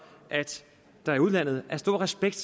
at der i udlandet er stor respekt